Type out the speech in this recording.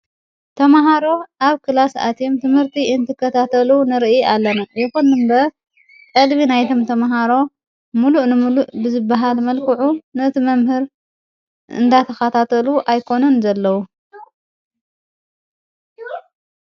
ተምሃሮ ኣብ ክላስኣትም ትምህርቲ እንትከታተሉ ንርኢ ኣለና ነዂኑንበ ዕልቢ ናይቶም ተምሃሮ ምሉእ ንምሉእ ብዝበሃል መልክዑ ነቲ መምህር እንዳተኻታተሉ ኣይኮኑን ዘለዉ።